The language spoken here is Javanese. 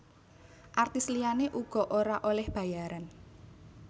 Artis liyané uga ora olih bayaran